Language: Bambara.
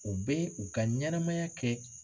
U bɛ u ka ɲɛnamaya kɛ